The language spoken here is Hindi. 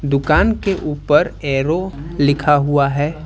दुकान के ऊपर एरो लिखा हुआ है।